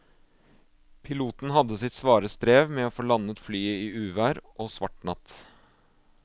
Piloten hadde sitt svare strev med å få landet flyet i uvær og svart natt.